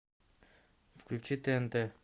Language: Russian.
включи тнт